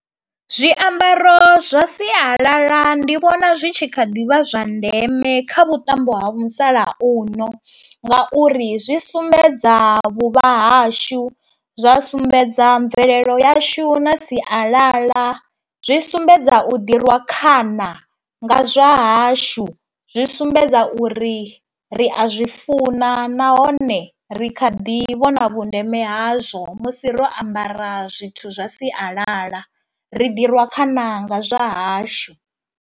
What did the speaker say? Zwiambaro zwa sialala ndi vhona zwi tshi kha ḓi vha zwa ndeme kha vhuṱambo ha musalauno ngauri zwi sumbedza vhuvha hashu, zwa sumbedza mvelelo yashu na sialala, zwi sumbedza u ḓi rwa khana nga zwa hashu, zwi sumbedza uri ri a zwi funa nahone ri kha ḓi vhona vhundeme hazwo musi ro ambara zwithu zwa sialala, ri ḓi rwa khana nga zwa hashu.